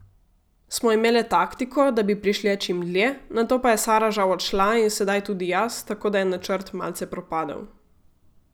Smo imele taktiko, da bi prišle čim dlje, nato pa je Sara žal odšla in sedaj tudi jaz, tako da je načrt malce propadel.